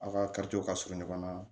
A' ka ka surun ɲɔgɔn na